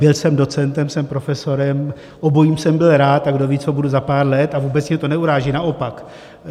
Byl jsem docentem, jsem profesorem, obojím jsem byl rád a kdo ví, co budu za pár let, a vůbec mě to neuráží, naopak.